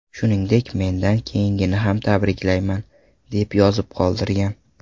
Shuningdek, mendan keyingini ham tabriklayman” deb yozib qoldirgan.